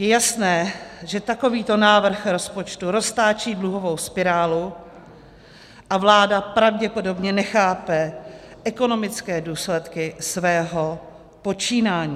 Je jasné, že takovýto návrh rozpočtu roztáčí dluhovou spirálu a vláda pravděpodobně nechápe ekonomické důsledky svého počínání.